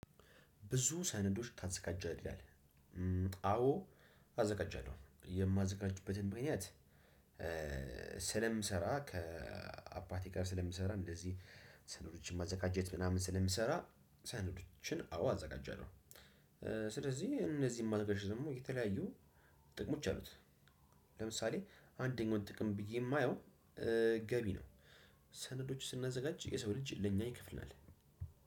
ብዙ ሰነዶች ታዘጋጃለህ ይላል? አዎ። አዘጋጃለሁ የማዘጋጅበትም ምክንያት። ስለምሰራ ከአባቴ ጋር ስለምሰራ እንደዚህ ሰነዶችን ማዘጋጀት ምናምን ስለሚሰራ ሰነዶችን አዎ አዘጋጀናል። ስለዚህ እነዚህን ማድረግ ደግሞ የተለያዩ ጥቅሞች አሉት። ለምሳሌ አንደኛው ጥቅም ብዬ የማየው ገቢ ነው። ሰነዶች ስናዘጋጅ የሰው ልጅ ለኛ ይከፍለናል።